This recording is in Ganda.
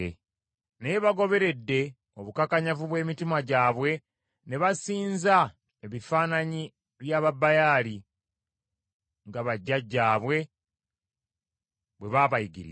Naye, bagoberedde obukakanyavu bw’emitima gyabwe ne basinza ebifaananyi bya Babaali nga bajjajjaabwe bwe baabayigiriza.”